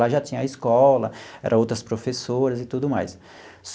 Lá já tinha a escola, era outras professoras e tudo mais.